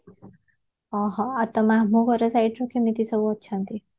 ଅ ହ ଆଉ ତମମାନଙ୍କ ଘର ସବୁଠୁ କେମିତି ସବୁ ଅଛନ୍ତି